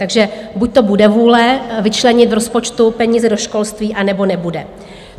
Takže buďto bude vůle vyčlenit v rozpočtu peníze do školství, a nebo nebude.